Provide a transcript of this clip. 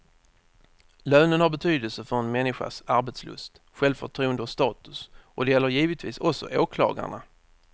Lönen har betydelse för en människas arbetslust, självförtroende och status och det gäller givetvis också åklagarna.